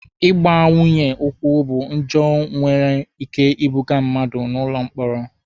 Ịgba nwunye ụkwụ bụ njọ nwere ike ibuga mmadụ n'ụlọ mkpọrọ.